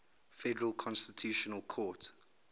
federal constitutional court